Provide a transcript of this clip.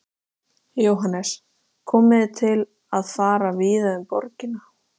Saltið og piprið og dreifið lárviðarlaufunum ofan á.